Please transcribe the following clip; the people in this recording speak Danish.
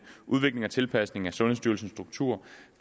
udvikling af tilpasning af sundhedsstyrelsens struktur